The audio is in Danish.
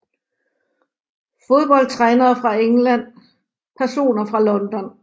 Fodboldtrænere fra England Personer fra London